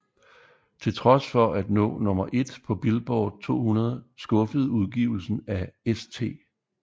Til trods for at nå nummer 1 på Billboard 200 skuffede udgivelsen af St